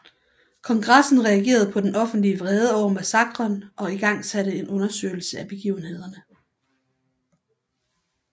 Kongressen reagerede på den offentlig vrede over massakren og igangsatte en undersøgelse af begivenhederne